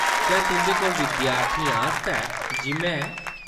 क्या तुंʼदे कोल विद्यार्थियें आस्तै जिम है ?